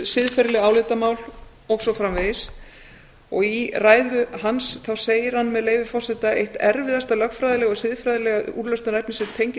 siðferðileg álitamál og svo framvegis í ræðu hans segir hann með leyfi forseta eitt erfiðasta lögfræðilega og siðfræðilega úrlausnarefnið sem tengist